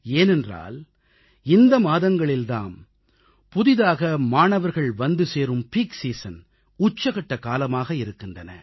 ஏனென்றால் இந்த மாதங்கள் தாம் கல்லூரிகளின் உச்ச பருவமாக பீக் சீசன் இருக்கின்றன